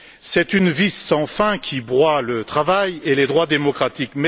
C'est une vis sans fin qui broie le travail et les droits démocratiques.